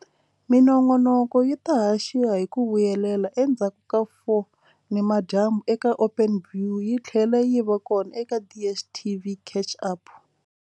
Minongonoko yi ta haxiwa hi ku vuyelela endzhaku ka 4 nimadyambu eka Openview yi tlhela yi va kona eka DSTV Catch-Up.